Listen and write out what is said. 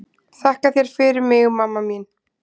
Þakka þér fyrir mig mamma mín.